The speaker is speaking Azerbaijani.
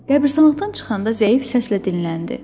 Qəbristanlıqdan çıxanda zəif səslə dinləndi.